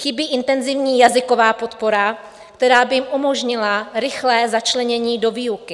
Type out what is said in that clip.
Chybí intenzivní jazyková podpora, která by jim umožnila rychlé začlenění do výuky.